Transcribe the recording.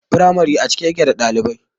Firamare a cike yake da ɗalibai